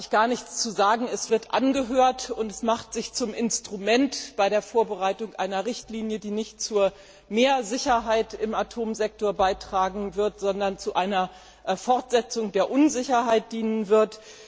Das Parlament hat in dieser Sache eigentlich gar nichts zu sagen es wird angehört, und es macht sich zum Instrument bei der Vorbereitung einer Richtlinie, die nicht zu mehr Sicherheit im Atomsektor beitragen wird, sondern der Fortsetzung der Unsicherheit dienen wird.